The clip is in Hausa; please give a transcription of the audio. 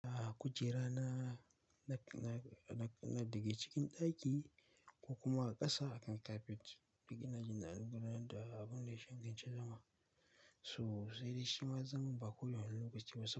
A kujera na, na, na, na, na daga cikin ɗaki ko kuma a ƙasa akan kapet, duk ina jin na gudu ranar da abun da ya sha can gaba. To sai dai shi ma zaman ba ko da wane lokaciba sab.